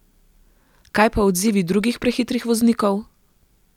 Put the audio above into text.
Kaj pa odzivi drugih prehitrih voznikov?